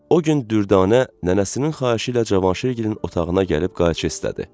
O gün Düdanə nənəsinin xahişi ilə Cavanşirgili otağına gəlib qayçı istədi.